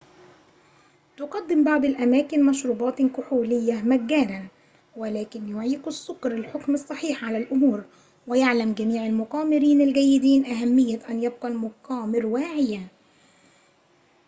تُقدِم بعض الأماكن مشروبات كحولية مجانًا ولكن يعيق السُكر الحُكم الصحيح على الأمور ويعلم جميع المقامرين الجيدين أهمية أن يبقى المقامر واعيًا